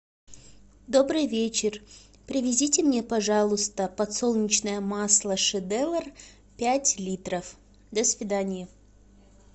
добрый вечер привезите мне пожалуйста подсолнечное масло шедевр пять литров до свидания